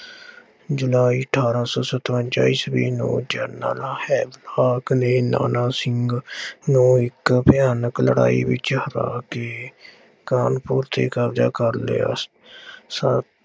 ਜੁਲਾਈ ਅਠਾਰਾਂ ਸੌ ਸਤਵੰਜ਼ਾਂ ਈਸਵੀ ਨੂੰ ਜਨਰਲ ਹਾਕ ਨੇ ਨਾਨਾ ਸਿੰਘ ਨੂੰ ਇੱਕ ਭਿਆਨਕ ਲੜਾਈ ਵਿੱਚ ਹਰਾ ਕੇ ਕਾਨਪੁਰ ਤੇ ਕਬਜ਼ਾ ਕਰ ਲਿਆ। ਸੱਤ